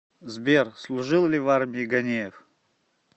сбер служил ли в армии ганеев